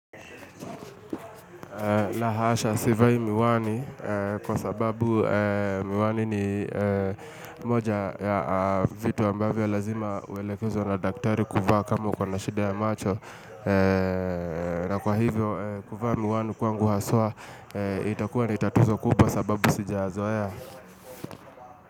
Lahasha, sivai miwani kwa sababu miwani ni moja ya vitu ambavyo lazima uelekezo na daktari kuvaa kama uko na shida ya macho na kwa hivyo, kuvaa miwani kwa nguhasa, itakuwa ni tatuzo kubwa sababu sijazoea.